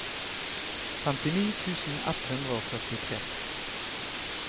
femtini tusen ett hundre og førtitre